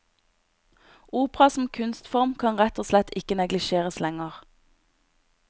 Opera som kunstform kan rett og slett ikke neglisjeres lenger.